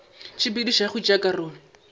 tshepedišo ya go tšea karolo